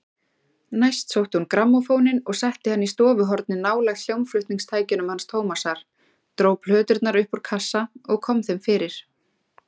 Næst sótti hún grammófóninn og setti hann í stofuhornið nálægt hljómflutningstækjunum hans Tómasar, dró plöturnar upp úr kassa og kom þeim fyrir.